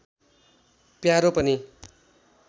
प्यारो पनि